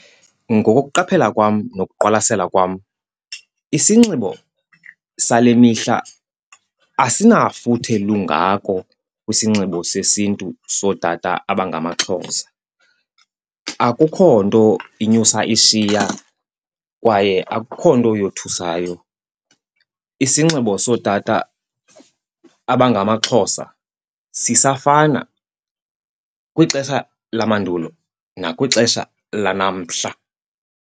Ngokokuqaphelela kwam nokuqwalasela kwam isinxibo sale mihla asinafuthe lungako kwisinxibo sesiNtu sootata abangamaXhosa. Akukho nto inyusa ishiya kwaye akukho nto yothusayo. Isinxibo sootata abangamaXhosa sisafana kwixesha lamandulo nakwixesha lanamhla.